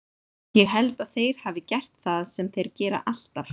Ég held að þeir hafi gert það sem þeir gera alltaf.